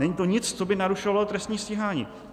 Není to nic, co by narušovalo trestní stíhání.